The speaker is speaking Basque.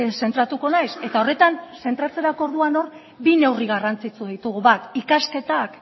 zentratuko naiz eta horretan zentratzerako orduan hor bi neurri garrantzitsu ditugu bat ikasketak